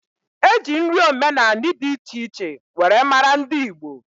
Eji nri omenani di iche iche were mara ndi Igbo.